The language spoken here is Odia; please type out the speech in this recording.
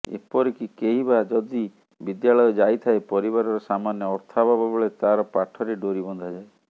ଏପରିକି କେହି ବା ଯଦି ବିଦ୍ୟାଳୟ ଯାଇଥାଏ ପରିବାରର ସାମାନ୍ୟ ଅର୍ଥାଭାବ ବେଳେ ତାର ପାଠରେ ଡୋରି ବନ୍ଧାଯାଏ